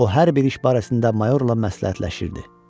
O hər bir iş barəsində Mayorla məsləhətləşirdi.